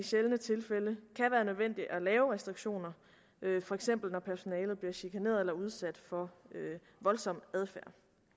sjældne tilfælde kan være nødvendigt at lave restriktioner for eksempel når personalet bliver chikaneret eller udsat for voldsom adfærd